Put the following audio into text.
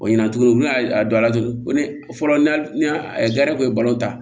O ɲina tugun u y'a dɔn a la tugun ne fɔlɔ ne hali ni a ta